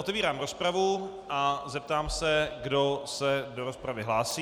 Otevírám rozpravu a zeptám se, kdo se do rozpravy hlásí.